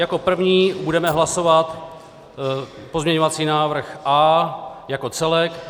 Jako první budeme hlasovat pozměňovací návrh A jako celek.